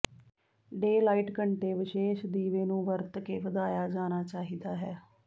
daylight ਘੰਟੇ ਵਿਸ਼ੇਸ਼ ਦੀਵੇ ਨੂੰ ਵਰਤ ਕੇ ਵਧਾਇਆ ਜਾਣਾ ਚਾਹੀਦਾ ਹੈ